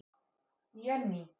Jenný